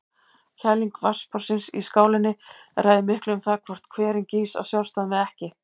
Kæling vatnsborðsins í skálinni ræður miklu um það hvort hverinn gýs af sjálfsdáðum eða ekki.